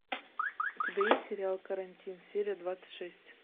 у тебя есть сериал карантин серия двадцать шесть